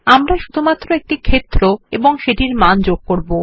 আমরা শুধুমাত্র একটি ক্ষেত্র এবং সেটির মান যোগ করব